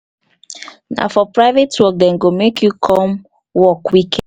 na for private work dem go make you come work weekend.